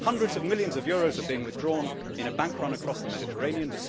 Hundreds of millions of euros are being withdrawn in a bank run across the Mediterranean.